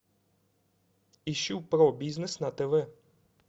ищу про бизнес на тв